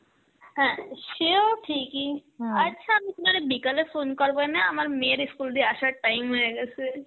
হ্যাঁ সেও ঠিকই আচ্ছা আমি তোমারে বিকালে phone করবনে, আমার মেয়ের ই school দিয়ে আসার time হয়ে গেসে.